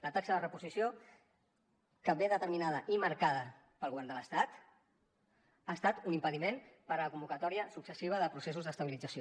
la taxa de reposició que ve determinada i marcada pel govern de l’estat ha estat un impediment per a la convocatòria successiva de processos d’estabilització